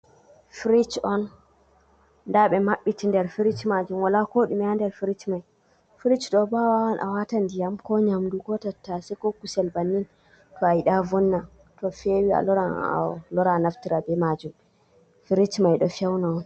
Firij on, daa ɓe maɓɓiti der firij maajum, waala kooɗume ha der firij mai. Firij ɗo bo a waawan a waata ndiyam, ko nyamdu ko tattase ko kucel bannin to a yiɗa vonna. To feewi a loran a naftira bee maajum. Firij man ɗo fewna on.